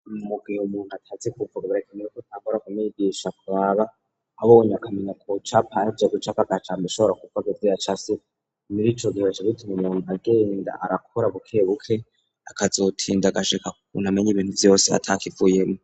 Mugihe umuntu atazi kuvuga birakineye ko tagora kumigisha kbaba abonye akamenya ku capa ajya gucaka gacambi ishobora kubwa gizira casi niricogibasa bitume non agenda arakora buke buke akazotinda gaseka kunamenya ibintu byose atak ivuyemo